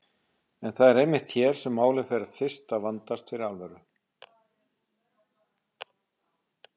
En það er einmitt hér sem málið fer fyrst að vandast fyrir alvöru.